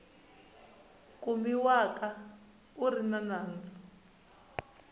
kumiwaka a ri ni nandzu